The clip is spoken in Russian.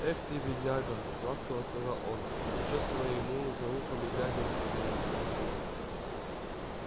эх ты бедняга ласково сказал он почёсывая ему за ухом и гладя на спину